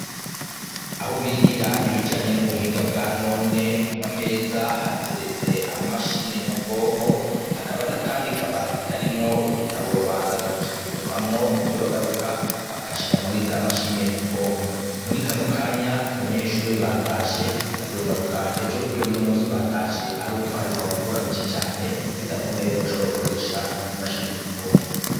Aho bigira ibijanye n'ubuhinga bwanone ku mameza hateretse amamashine nyabwonko, hakaba n'akandi kabati karimwo ibitabo babanza kuja gusomamwo ivyo bagaruka bakashira muri za mashine nyabwonko, muri kano kanya abanyeshure batashe bazogaruka ejo, kubera uno musi batashe aruko hariko haragwa imvura nyinshi cane bidakunda yuko bashobora gukoresha izi mashini nyabwonko.